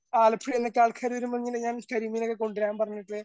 ആലപ്പുഴയിൽ നിന്നൊക്കെ ആൾക്കാർ വരുമ്പോ ഞാൻ കരിമീനൊക്കെ കൊണ്ടുവരാൻ പറഞ്ഞിട്ട്